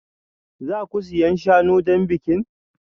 Za ku siyan shanu don bikin?